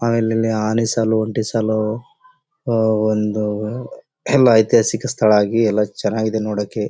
ಆಮೇಲೆ ಇಲ್ಲಿ ಆನೆ ಸಾಲು ಒಂಟಿ ಸಾಲು ಓಹ್ಹ್ಹ್ ಒಂದು ಎಲ್ಲ ಐತ್ತೆ ಐತಿಹಾಸಿಕ ಸ್ಥಳ ಆಗಿ ಎಲ್ಲ ಚೆನ್ನಾಗಿ ಇದೆ ನೋಡೋಕ್ಕೆ.